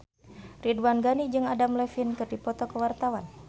Ridwan Ghani jeung Adam Levine keur dipoto ku wartawan